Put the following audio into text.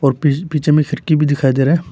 पीछे में खिड़की भी दिखाई दे रहा है।